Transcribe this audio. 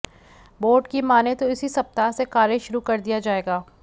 board की मानें तो इसी सप्ताह से कार्य शुरू कर दिया जाएगा